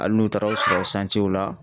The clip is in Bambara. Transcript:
Ali n'u taar' aw sɔrɔ sancew la